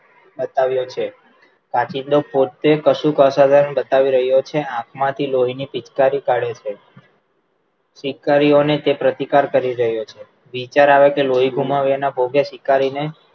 બતાવ્યો છે કાચિંડો પોતે બતાવી રહ્યો છે આંખ માંથી લોહી ની પિચકારી કાઢે છે પિચકારીઓ ને તે પ્રતિકાર કરી રહ્યો છે વિચાર આવે કે લોહી ગુમાવ્યાના ભોગે શિકારી ને